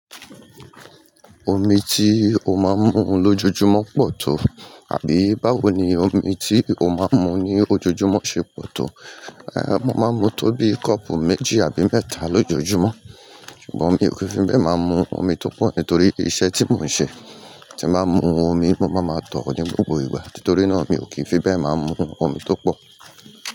Omi tí o máa ń mu lójoojúmọ́ pọ̀ tó àbí báwo ni omi tí o máa ń mu ní ojoojúmọ́ ṣe pọ̀ tó? Mo máa ń mu tóbi kopu méjì àbí mẹ́ta lójojúmọ́ bo mi ò kì ń fi be ma mu omi torí iṣẹ́ tí mon ṣe. Tí mo bá mu omi, mo máa ma tọ̀ ọ́ dín gbogbo ìgbà, nítorí náà mi ò kì í fi bẹ́ẹ̀ máa ń mu omi tó pọ̀.